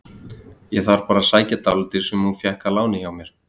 Ég þarf bara að sækja dálítið sem hún fékk að láni hjá mér.